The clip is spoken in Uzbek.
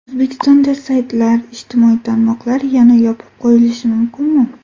O‘zbekistonda saytlar, ijtimoiy tarmoqlar yana yopib qo‘yilishi mumkinmi?.